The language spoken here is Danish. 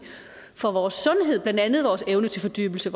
for vores sundhed blandt andet vores evne til fordybelse